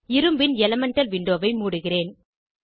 இரும்பின் எலிமெண்டல் விண்டோவை மூடுகிறேன்